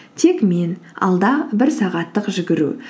тек мен алда бір сағаттық жүгіру